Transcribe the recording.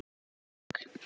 andi þennan strák.